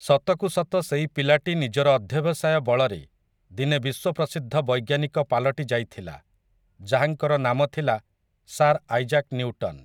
ସତକୁ ସତ ସେଇ ପିଲାଟି ନିଜର ଅଧ୍ୟବସାୟ ବଳରେ ଦିନେ ବିଶ୍ୱପ୍ରସିଦ୍ଧ ବୈଜ୍ଞାନିକ ପାଲଟି ଯାଇଥିଲା, ଯାହାଙ୍କର ନାମ ଥିଲା, ସାର୍ ଆଇଜାକ୍ ନିଉଟନ୍ ।